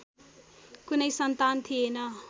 कुनै सन्तान थिएन